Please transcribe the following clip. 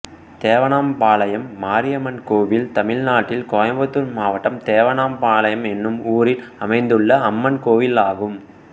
தேவணாம்பாளையம் மாரியம்மன் கோயில் தமிழ்நாட்டில் கோயம்புத்தூர் மாவட்டம் தேவணாம்பாளையம் என்னும் ஊரில் அமைந்துள்ள அம்மன் கோயிலாகும்